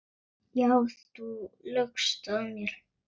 Já, þú laugst að mér.